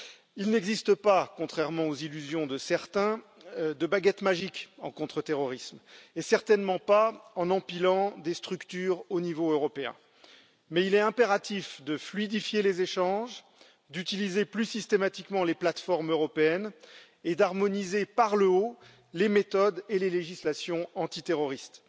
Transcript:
Il n'existe pas, contrairement aux illusions de certains, de baguette magique en contre terrorisme, et la clé n'est certainement pas d'empiler des structures au niveau européen, mais il est impératif de fluidifier les échanges, d'utiliser plus systématiquement les plateformes européennes et d'harmoniser par le haut les méthodes et les législations antiterroristes.